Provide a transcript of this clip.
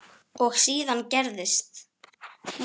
Og síðan gerðist.